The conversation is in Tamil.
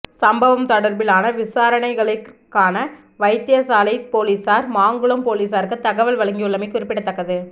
சம்பவம் தொடர்பிலான விசாரணைகளிற்கான வைத்தியசாலை பொலிசார் மாங்குளம் பொலிசாருக்கு தகவல் வழங்கியுள்ளமை குறிப்பிட தக்கது